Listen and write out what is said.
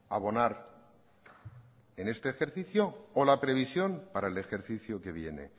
abonar en este ejercicio o la previsión para el ejercicio que viene